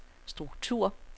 struktur